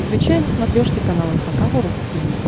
включай на смотрешке канал эн эйч кей волд ти ви